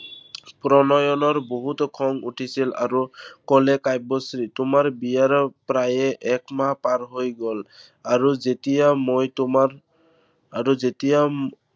প্ৰণয়নৰ বহুত খং উঠিছিল আৰু কলে কাব্যশ্ৰীক। তোমাৰ বিয়াৰ প্ৰায় একমাহ পাৰ হৈ গল, আৰু যেতিয়া মই তোমাক আৰু যেতিয়া উম